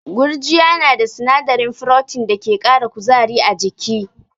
Gurjiya na da sinadarin Protein da ke kara kuzari a jiki.